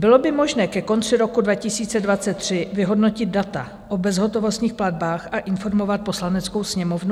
Bylo by možné ke konci roku 2023 vyhodnotit data o bezhotovostních platbách a informovat Poslaneckou sněmovnu?